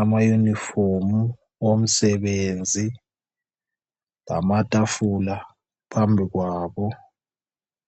amayunifomu omsebenzi lamatafula phambi kwabo.